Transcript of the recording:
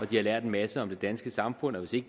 de har lært en masse om det danske samfund og hvis de